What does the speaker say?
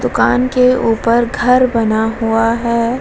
दुकान के ऊपर घर बना हुआ है।